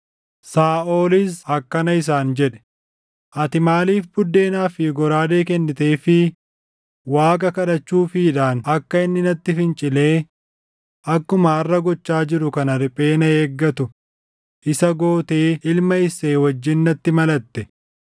Saaʼolis akkana isaan jedhe; “Ati maaliif buddeenaa fi goraadee kenniteefii Waaqa kadhachuufiidhaan akka inni natti fincilee akkuma harʼa gochaa jiru kana riphee na eeggatu isa gootee ilma Isseey wajjin natti malatte?”